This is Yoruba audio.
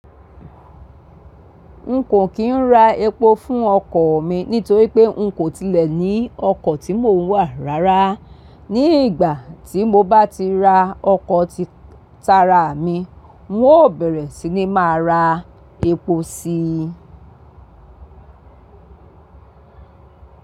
N kò kín rà èpò fún ọkọ̀ mi nítorí pé n kò tilẹ̀ ní ọkọ̀ tí mò ń wà rárá. Ni ìgbà tí mo bá ti ra ọkọ̀ títaara mi, n ó bẹ̀rẹ̀ sí ní má ra èpò sí i.